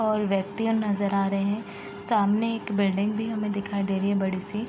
और व्यक्तियाँ नजर आ रहे हैं सामने एक बिल्डिंग भी दिखाई दे रही है बड़ी सी।